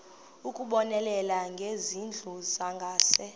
ukubonelela ngezindlu zangasese